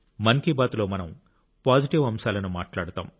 మన్ కి బాత్ లో మనం పాజిటివ్ అంశాలను మాట్లాడుతాం